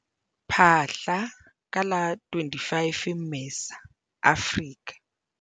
Phaahla, ka la 25 Mmesa, Afrika